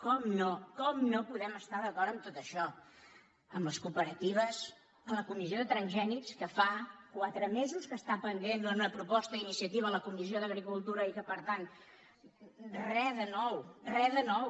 com no com no podem estar d’acord en tot això en les cooperati·ves en la comissió de transgènics que fa quatre me·sos que està pendent que era una proposta d’iniciati·va de la comissió d’agricultura i per tant re de nou re de nou